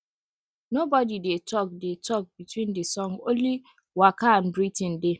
nobody dey talk dey talk between the song only waka and breathing dey